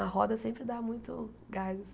Na roda sempre dá muito galho.